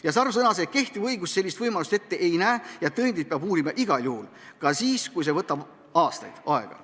Juhan Sarv selgitas, et kehtiv õigus sellist võimalust ette ei näe, tõendeid peab uurima igal juhul, ka siis, kui see võtab aastaid aega.